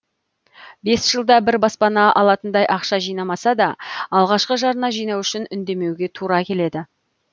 бес жылда бір баспана алатындай ақша жинамаса да алғашқы жарна жинау үшін үндемеуге тура келеді